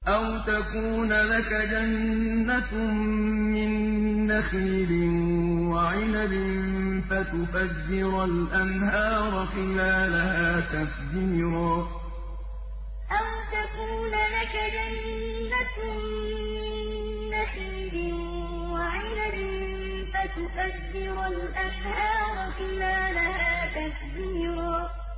أَوْ تَكُونَ لَكَ جَنَّةٌ مِّن نَّخِيلٍ وَعِنَبٍ فَتُفَجِّرَ الْأَنْهَارَ خِلَالَهَا تَفْجِيرًا أَوْ تَكُونَ لَكَ جَنَّةٌ مِّن نَّخِيلٍ وَعِنَبٍ فَتُفَجِّرَ الْأَنْهَارَ خِلَالَهَا تَفْجِيرًا